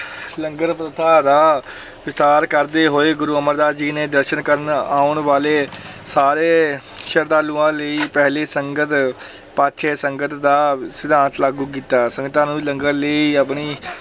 ਲੰਗਰ ਪ੍ਰਥਾ ਦਾ ਵਿਸਥਾਰ ਕਰਦੇ ਹੋਏ ਗੁਰੂ ਅਮਰਦਾਸ ਜੀ ਨੇ ਦਰਸ਼ਨ ਕਰਨ ਆਉਣ ਵਾਲੇ ਸਾਰੇ ਸ਼ਰਧਾਲੂਆਂ ਲਈ ਪਹਿਲੀ ਸੰਗਤ ਪਾਛੈ ਸੰਗਤ ਦਾ ਸਿਧਾਂਤ ਲਾਗੂ ਕੀਤਾ, ਸੰਗਤਾਂ ਨੂੰ ਲੰਗਰ ਲਈ ਆਪਣੀ